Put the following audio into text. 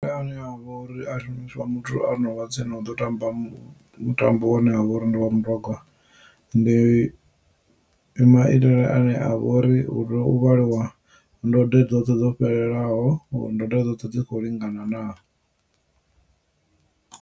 Maga ane avha uri muthu ono vha tsini uḓo tamba mutambo une wavha uri ndi wa mutogwa ndi maitele ane avha ori u tea vhaliwa ndode dzoṱhe dzo fhelelaho ndode dzoṱhe dzi kho lingana naa.